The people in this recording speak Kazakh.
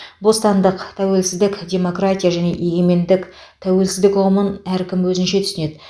бостандық тәуелсіздік демократия және егемендік тәуелсіздік ұғымын әркім өзінше түсінеді